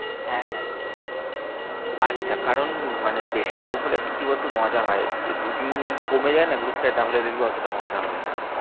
হ্যাঁ হ্যাঁ আচ্ছা কারণ মানে বেশি লোক হলে কি বলতো মজা হয়। দু তিন জন যদি কমে যায় না group টায় তাহলে দেখবি অতটা মজা হবেনা আর।